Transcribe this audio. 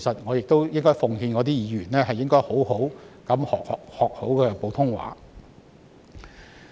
我亦奉勸那些議員好好學習普通話。